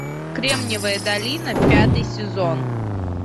кремниевая долина пятый сезон